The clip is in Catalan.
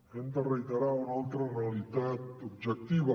hem de reiterar una altra realitat objectiva